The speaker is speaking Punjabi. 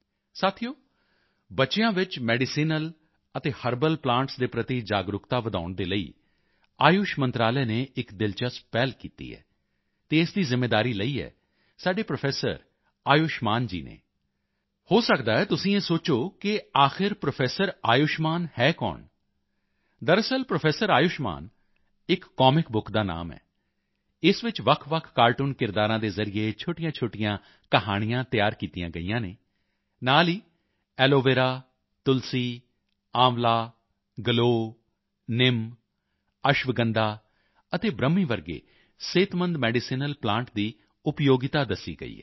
ਸਾਥੀਓ ਬੱਚਿਆਂ ਵਿੱਚ ਮੈਡੀਸੀਨਲ ਅਤੇ ਹਰਬਲ ਪਲਾਂਟਸ ਦੇ ਪ੍ਰਤੀ ਜਾਗਰੂਕਤਾ ਵਧਾਉਣ ਦੇ ਲਈ ਆਯੁਸ਼ ਮੰਤਰਾਲੇ ਨੇ ਇੱਕ ਦਿਲਚਸਪ ਪਹਿਲ ਕੀਤੀ ਹੈ ਅਤੇ ਇਸ ਦੀ ਜ਼ਿੰਮੇਵਾਰੀ ਲਈ ਹੈ ਸਾਡੇ ਪ੍ਰੋਫੈਸਰ ਆਯੁਸ਼ਮਾਨ ਜੀ ਨੇ ਹੋ ਸਕਦਾ ਹੈ ਤੁਸੀਂ ਇਹ ਸੋਚੋ ਕਿ ਆਖਰ ਪ੍ਰੋਫੈਸਰ ਆਯੁਸ਼ਮਾਨ ਹੈ ਕੌਣ ਦਰਅਸਲ ਪ੍ਰੋਫੈਸਰ ਆਯੁਸ਼ਮਾਨ ਇੱਕ ਕਾਮਿਕ ਬੁੱਕ ਦਾ ਨਾਮ ਹੈ ਇਸ ਵਿੱਚ ਵੱਖਵੱਖ ਕਾਰਟੂਨ ਕਿਰਦਾਰਾਂ ਦੇ ਜ਼ਰੀਏ ਛੋਟੀਆਂਛੋਟੀਆਂ ਕਹਾਣੀਆਂ ਤਿਆਰ ਕੀਤੀਆਂ ਗਈਆਂ ਹਨ ਨਾਲ ਹੀ ਐਲੋਵੇਰਾ ਤੁਲਸੀ ਆਂਵਲਾ ਗਲੋਅ ਨਿਮ ਅਸ਼ਵਗੰਧਾ ਅਤੇ ਬ੍ਰਹਮੀ ਵਰਗੇ ਸਿਹਤਮੰਦ ਮੈਡੀਸੀਨਲ ਪਲਾਂਟ ਦੀ ਉਪਯੋਗਤਾ ਦੱਸੀ ਗਈ ਹੈ